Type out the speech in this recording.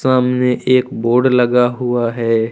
सामने एक बोड लगा हुआ है।